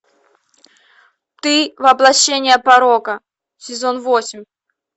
ты воплощение порока сезон восемь